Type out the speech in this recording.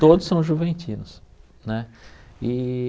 Todos são juventinos, né? E